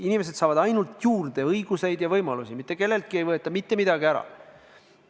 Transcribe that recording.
Inimesed saavad ainult õigusi ja võimalusi juurde, mitte kelleltki ei võeta mitte midagi ära.